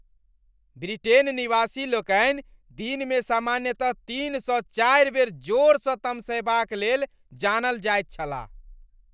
Britain निवासी लोकनि दिनमे सामान्यतः तीनसँ चारि बेर जोरसँ तमसयबाक लेल जानल जाइत छलाह।